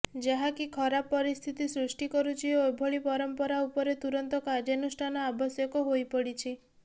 ଯାହାକି ଖରାପ ପରିସ୍ଥିତି ସୃଷ୍ଟି କରୁଛି ଓ ଏଭଳି ପରମ୍ପରା ଉପରେ ତୁରନ୍ତ କାର୍ଯ୍ୟାନୁଷ୍ଠାନ ଆବଶ୍ୟକ ହୋଇପଡ଼ିଛି